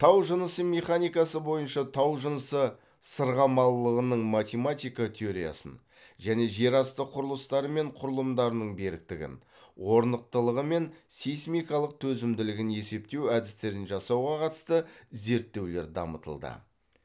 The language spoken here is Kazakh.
тау жынысы механикасы бойынша тау жынысы сырғымалылығының математика теориясын және жер асты құрылыстары мен құрылымдарының беріктігін орнықтылығы мен сейсмикалық төзімділігін есептеу әдістерін жасауға қатысты зерттеулер дамытылды